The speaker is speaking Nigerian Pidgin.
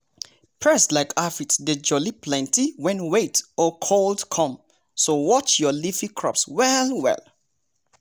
pests like aphids dey jolly plenty when wet-cold come so watch your leafy crops well-well.